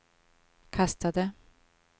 kastade